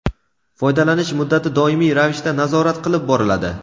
foydalanish muddati doimiy ravishda nazorat qilib boriladi.